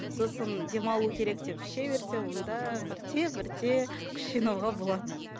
сосын демалу керек деп іше берсе онда бірте бірте күш жинауға болады